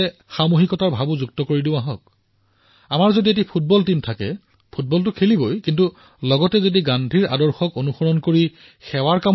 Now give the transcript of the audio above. আমি সকলোৱে একত্ৰিতভাৱে গোটেই চুবুৰীটো ওলাই নাহোনো কিয় যদি আমাৰ ফুটবলৰ দল আছে তেন্তে ফুটবলৰ দলে ফুটবলতো খেলিবই কিন্তু গান্ধীৰ আদৰ্শৰ অনুৰূপে সেৱাৰ কামো কৰিব